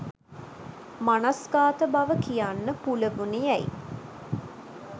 මනස්ගාත බව කියන්න පුළුවනි යැයි